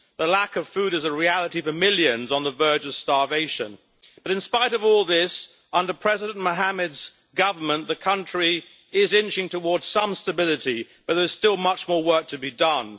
The lack of food is a reality for millions on the verge of starvation, but, in spite of all this, under President Mohammed's government the country is inching towards some stability but there is still much more work to be done.